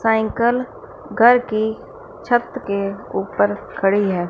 Cycle घर की छत के ऊपर खड़ी हैं।